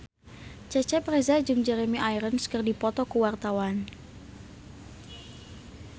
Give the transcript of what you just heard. Cecep Reza jeung Jeremy Irons keur dipoto ku wartawan